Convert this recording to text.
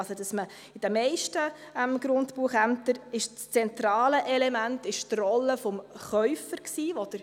Also war in den meisten Grundbuchämtern das zentrale Element die Rolle des Käufers.